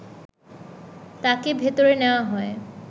তাকে ভেতরে নেয়া হয়